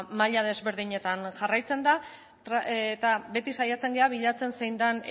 maila desberdinetan jarraitzen da eta beti saiatzen gara bilatzen zein den